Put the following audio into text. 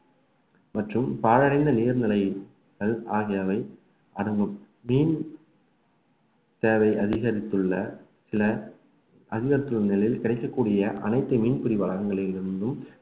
மற்றும் பாழடைந்த நீர்நிலைகள் ஆகியவை அடங்கும் மீன் தேவை அதிகரித்துள்ள சில அதிகரித்துள்ள நிலையில் கிடைக்கக்கூடிய அனைத்து மீன்பிடி வளாகங்களில் இருந்தும்